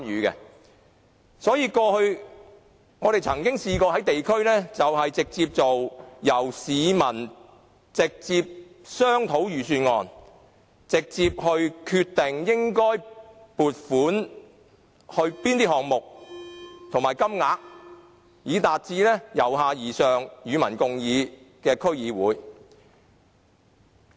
因此，過去我們曾經在地區直接與市民商討預算案，決定應為哪些項目撥款及有關金額為何，以達致由下而上、與民共議的區議會。